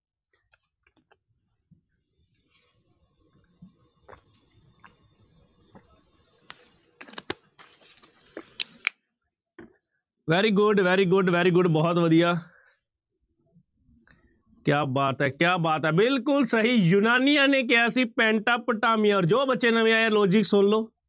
Very good, very good, very good ਬਹੁਤ ਵਧੀਆ ਕਿਆ ਬਾਤ ਹੈ, ਕਿਆ ਬਾਤ ਹੈ ਬਿਲਕੁਲ ਸਹੀ ਯੂਨਾਨੀਆਂ ਨੇ ਕਿਹਾ ਸੀ ਪੈਂਟਾ ਪੁਟਾਮੀਆਂ ਔਰ ਜੋ ਬੱਚੇ ਨਵੇਂ ਆਏ ਆ logic ਸੁਣ ਲਓ।